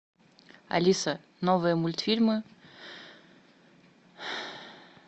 алиса новые мультфильмы